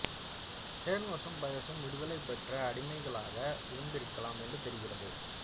ஹெர்மசும் பயசும் விடுதலை பெற்ற அடிமைகளாக இருந்திருக்கலாம் என்று தெரிகிறது